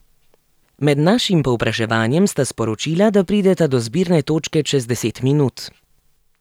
Med našim povpraševanjem sta sporočila, da prideta do zbirne točke čez deset minut.